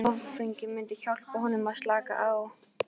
Áfengið myndi hjálpa honum að slaka á.